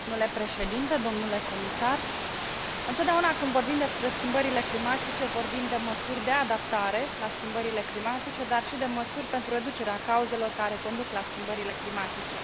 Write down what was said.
Domnule președinte, domnule comisar, întotdeauna când vorbim despre schimbările climatice, vorbim de măsuri de adaptare la schimbările climatice, dar și de măsuri pentru reducerea cauzelor care conduc la schimbările climatice.